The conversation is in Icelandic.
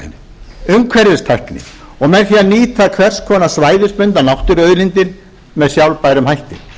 úrvinnsluiðnaðinn umhverfistækni og með því að nýta hvers konar svæðisbundnar náttúruauðlindir með sjálfbærum hætti